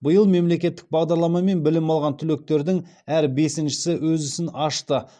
биыл мемлекеттік бағдарламамен білім алған түлектердің әр бесіншісі өз ісін ашты